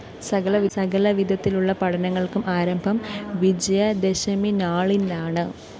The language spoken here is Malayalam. സകലവിധത്തിലുള്ള പഠനങ്ങള്‍ക്കും ആരംഭം വിജയദശമിനാളിലാണ്